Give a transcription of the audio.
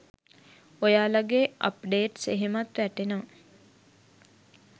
ඔයාලගේ අප්ඩේට්ස් එහෙමත් වැටෙනවා.